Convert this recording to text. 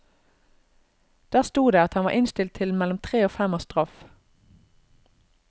Der sto det at han var innstilt til mellom tre og fem års straff.